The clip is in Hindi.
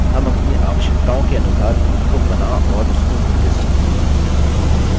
हम अपनी आवश्यकताओं के अनुसार views को बना और उसको रूप we सकते हैं